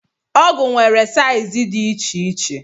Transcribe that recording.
Ọgụ nwere saiz dị iche iche.